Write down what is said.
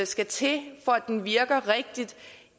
skal til for at den virker rigtigt